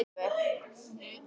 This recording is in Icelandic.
Sarína, ég kom með tíu húfur!